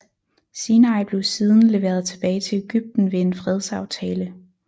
Sinai blev siden leveret tilbage til Egypten ved en fredsaftale